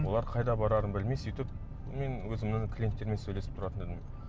олар қайда барарын білмей сөйтіп мен өзімнің клиенттеріммен сөйлесіп тұратын едім